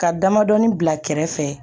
Ka damadɔnin bila kɛrɛfɛ